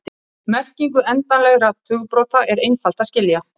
Merkingu endanlegra tugabrota er einfalt að skilja.